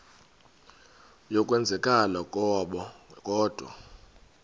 yokwenzakala kwabo kodwa